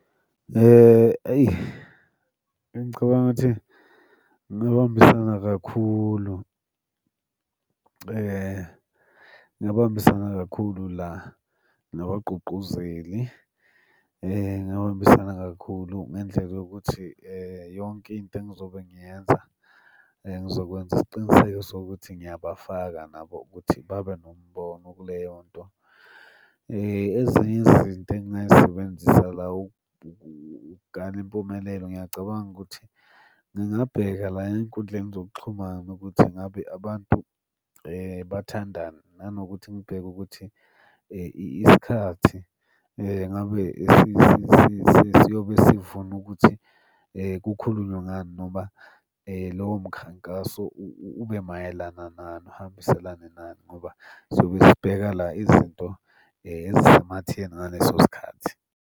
Eyi, ngicabanga ukuthi ngingabambisana kakhulu, ngingabambisana kakhulu la, nabagqugquzeli. Ngingabambisana kakhulu ngendlela yokuthi yonke into engizobe ngiyenza ngizokwenza isiqiniseko sokuthi ngiyabafaka nabo ukuthi babe nombono kuleyo nto. Ezinye izinto engingay'sebenzisa la ukukala impumelelo, ngiyacabanga ukuthi ngingabheka la ey'nkundleni zokuxhumana ukuthi ngabe abantu bathandani. Nanokuthi ngibheke ukuthi isikhathi ngabe siyobe sivuna ukuthi kukhulunywe ngani noma lowo mkhankaso ube mayelana nani, uhambiselane nani, ngoba siyobe sibheka la izinto ezisematheni ngaleso sikhathi.